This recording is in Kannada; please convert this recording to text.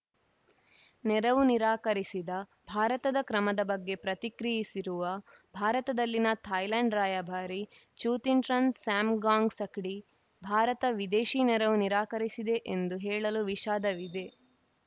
ನೆರವು ನಿರಾಕರಿಸಿದ ಭಾರತದ ಕ್ರಮದ ಬಗ್ಗೆ ಪ್ರತಿಕ್ರಿಯಿಸಿರುವ ಭಾರತದಲ್ಲಿನ ಥಾಯ್ಲೆಂಡ್‌ ರಾಯಭಾರಿ ಚೂತಿಂಟ್ರನ್‌ ಸ್ಯಾಮ್‌ ಗಾಂಗ್‌ಸಕ್ಡಿ ಭಾರತ ವಿದೇಶಿ ನೆರವು ನಿರಾಕರಿಸಿದೆ ಎಂದು ಹೇಳಲು ವಿಷಾದವಿದೆ